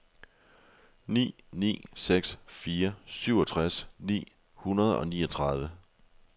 ni ni seks fire syvogtres ni hundrede og niogtredive